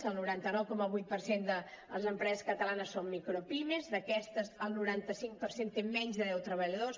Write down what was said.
el noranta nou coma vuit per cent de les empreses catalanes són micropimes d’aquestes el noranta cinc per cent té menys de deu treballadors